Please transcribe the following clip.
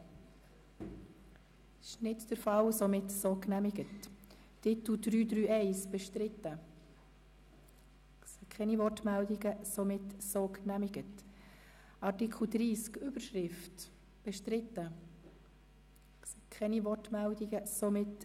Sie haben den Antrag Regierungsrat/GSoKMehrheit angenommen mit 94 Ja- gegen 46 Nein-Stimmen, ohne Enthaltungen.